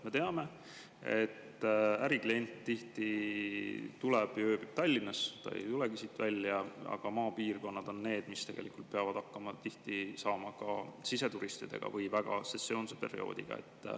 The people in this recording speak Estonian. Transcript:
Me teame, et äriklient tihti tuleb ja ööbib Tallinnas, ta ei siit välja, aga maapiirkonnad on need, mis tegelikult peavad tihti hakkama saama ka siseturistidega või väga sesoonse perioodiga.